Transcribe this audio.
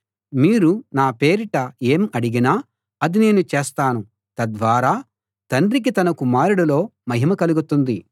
మీరు నా పేరిట ఏం అడిగినా అది నేను చేస్తాను తద్వారా తండ్రికి తన కుమారుడిలో మహిమ కలుగుతుంది